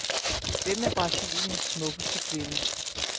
Hvem er brasiliens smukkeste kvinde?